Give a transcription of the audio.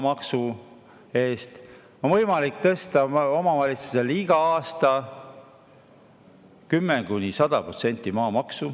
Omavalitsustel on võimalik iga aasta maamaksu tõsta 10–100%.